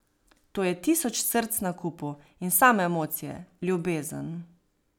To je tisoč src na kupu in same emocije, ljubezen.